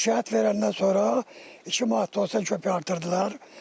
Şikayət verəndən sonra 2 manat 90 qəpik artırdılar.